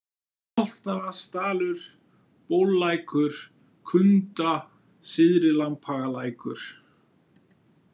Álftavatnsdalur, Bóllækur, Kunda, Syðri-Lambhagalækur